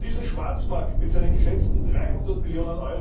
Und um diesen Schwarzmarkt mit seinen geschätzten 300 Mio.